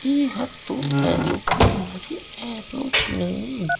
इ ह तो एयरोप्लेन हरे एयरोप्लेन --